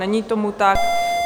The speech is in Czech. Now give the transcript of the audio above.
Není tomu tak.